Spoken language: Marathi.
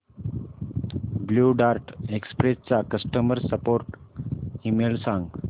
ब्ल्यु डार्ट एक्सप्रेस चा कस्टमर सपोर्ट ईमेल सांग